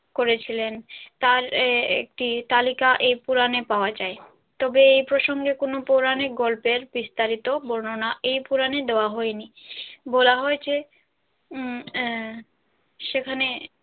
করেছিলেন তাঁর একটি তালিকা এই পুরানে পাওয়া যায় তবে এই প্রসঙ্গে কোনো পৌরাণিক গল্পের বিস্তারিত বর্ণনা এই পুরানে দেওয়া হয়নি বলা হয়েছে উম সেখানে।